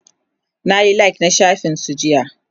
nayi like na shafin su jiya